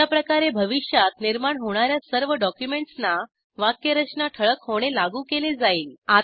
अशा प्रकारे भविष्यात निर्माण होणार्या सर्व डॉक्युमेंट्सना वाक्यरचना ठळक होणे लागू केले जाईल